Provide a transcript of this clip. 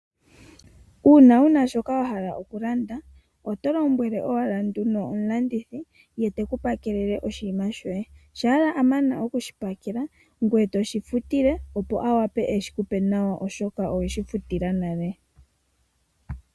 Uuna wuna shoka wahala okulanda oto lombwele owala omulanduthi opo ekuwathee nongele a mana okukuwathela oho shifutile nee opo a wape eshiku pe nawa.